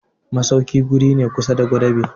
masauki wuri ne kusa da gwadabe.